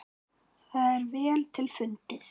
Það er vel til fundið.